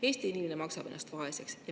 Eesti inimene maksab ennast vaeseks.